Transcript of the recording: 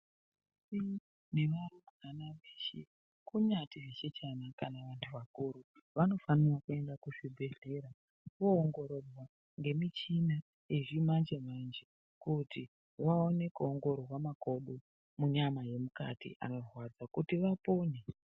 Iiiiii nevarumbwana veshe kunyari zvichechana kana vantu vakuru vanofanira kuenda kuzvibhedhera voongororwa nemichina yezvimanje manje kuti vaone kuongororwa makodo munyama yemukati anorwadza kuti vapone.